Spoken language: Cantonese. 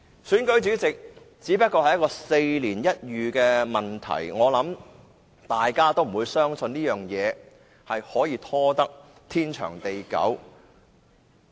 選舉主席只不過是4年一遇的問題，相信這個問題也不會拖至天長地久。